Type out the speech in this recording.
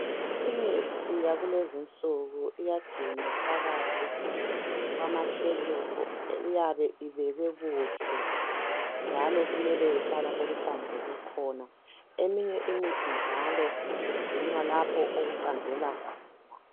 Imithi yakulezi insuku iyagcinwa phakathi kwama shelufu, kuyabe ibekwe kuhle njalo kumele ihlale lapha ehlanzeke khona. Eminye imithi njalo igcinwa lapha okuqandelela khona.